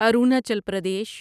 Arunachal Pradesh